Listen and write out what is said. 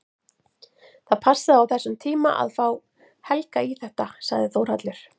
Það passaði á þessum tíma að fá Helga í þetta, sagði Þórhallur.